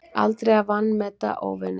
Aldrei að vanmeta óvininn.